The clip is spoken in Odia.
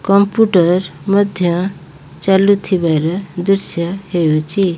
କମ୍ପୁଟର ମଧ୍ୟ ଚାଲୁଥିବାର ଦୃଶ୍ୟ ହେଉଚି।